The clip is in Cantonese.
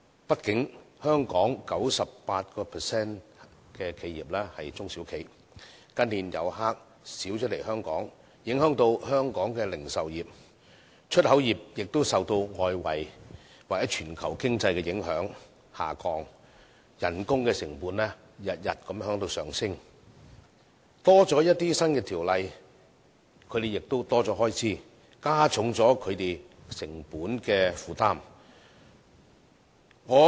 畢竟，香港 98% 的企業是中小企，近年來港遊客減少，影響香港的零售業，出口業亦受外圍或全球經濟的影響而下降，工資成本每天也在上升；條例增加，它們的開支亦會增加，加重它們的成本負擔。